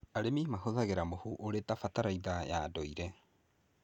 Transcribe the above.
Arĩmi mahũthagĩra mũhu ũrĩ ta bataraitha ya ndũire.